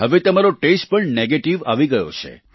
હવે તમારો ટેસ્ટ પણ નેગેટિવ આવી ગયો છે